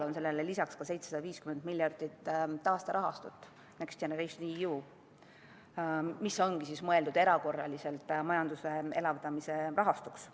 Sellele lisaks on laual 750 miljardi eurone taasterahastu, "Next Generation EU", mis ongi mõeldud erakorraliseks majanduse elavdamise rahastuks.